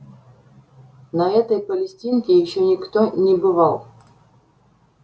на этой палестинке ещё никто не бывал